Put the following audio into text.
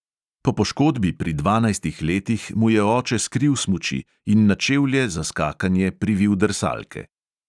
Po poškodbi pri dvanajstih letih mu je oče skril smuči in na čevlje za skakanje privil drsalke.